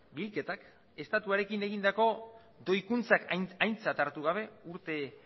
bilketak estatuarekin egindako doikuntzak aintzat hartu gabe urte